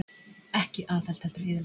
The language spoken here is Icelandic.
Ekki aðhald heldur eyðilegging